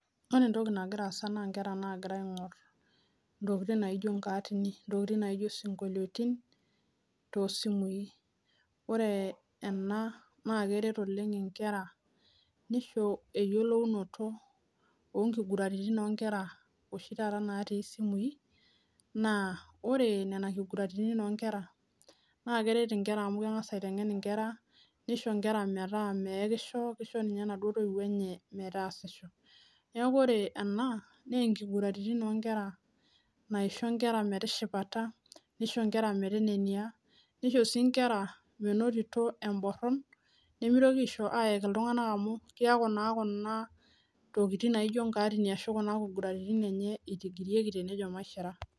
Ore entoki nagiraa aasa naa nkera nagira aingor ntokiting naijo nkaatini ,ntokiting naijo sinkolioitin toosimui. ore ena naa keret oleng nkera nisho eyiolounoto onkiguraritin oshi taata natii simui naa ore nena kiguraritin onkera naa keret nkera amu kitengen nkera nisho nkera metaa meyekisho nisho ninye naduo toiwuo enye metaasisho .neeku ore ena nkiguraritin naisho nkera metishipata ,nishomo sii metenenia, nishomo sii nkera menotito emboron nimitoki ayek iltunganak amu kiaku naa Kuna nkaarini ashu nkiguraritin itigirieki tenejo maishira.